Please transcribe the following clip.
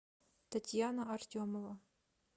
татьяна артемова